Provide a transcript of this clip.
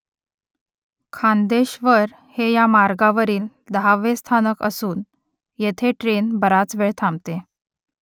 खांदेश्वर हे या मार्गावरील दहावे स्थानक असून येथे ट्रेन बराच वेळ थांबते